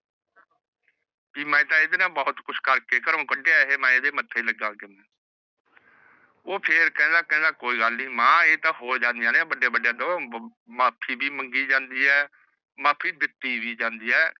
ਕੀ ਮੈ ਤੇਹ ਐਦੇ ਨਾਲ ਬਹੁਤ ਕੁਸ਼ ਕਰਕੇ ਘਰੋ ਕੱਢਿਆ ਹੈ ਏਹੇ ਤੇ ਮੈ ਐਦੇ ਮਥੇ ਨਾ ਲੱਗਾ ਕਿਵੇ ਊਹ ਫਿਰ ਕਹਿੰਦਾ ਕਹਿੰਦਾ ਕੋਈ ਗੱਲ ਨੀ ਮਾਂ ਏ ਤਾਂ ਹੋ ਜਾਂਦੀਆਂ ਨੇ ਵੱਡੇ ਵੱਡੇ ਤੋਂ ਮਾਫ਼ੀ ਮੰਗੀ ਵੀ ਜਾਂਦੀ ਆਹ ਮਾਫ਼ੀ ਦਿਤੀ ਵੀ ਜਾਂਦੀ ਆਹ